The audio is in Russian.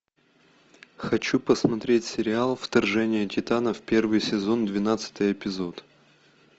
хочу посмотреть сериал вторжение титанов первый сезон двенадцатый эпизод